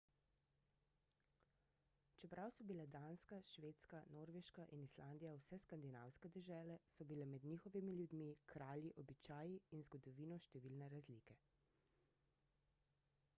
čeprav so bile danska švedska norveška in islandija vse »skandinavske« dežele so bile med njihovimi ljudmi kralji običaji in zgodovino številne razlike